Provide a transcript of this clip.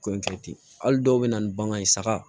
Ko in kɛ ten hali dɔw bɛ na ni bagan ye saga